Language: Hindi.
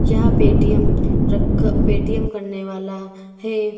यह पेटीएम रख पेटीएम करने वाला है।